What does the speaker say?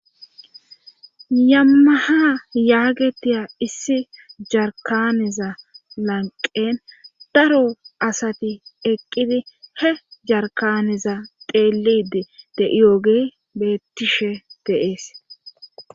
yammaha yaagetiya issi jarkaneza lanqen daro asati eqqidi he jarkaneza teelide de'iyooge bettishe deees